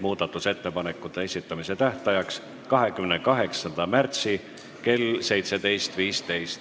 muudatusettepanekute esitamise tähtajaks 28. märtsi kell 17.15.